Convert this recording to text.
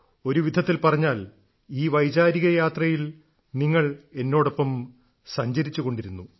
ഒരുവിധത്തിൽ പറഞ്ഞാൽ ഈ വൈചാരിക യാത്രയിൽ നിങ്ങൾ എന്നോടൊപ്പം സഞ്ചരിച്ചുകൊണ്ടിരുന്നു